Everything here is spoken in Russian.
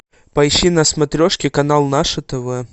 поищи на смотрешке канал наше тв